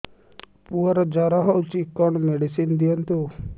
ପୁଅର ଜର ହଉଛି କଣ ମେଡିସିନ ଦିଅନ୍ତୁ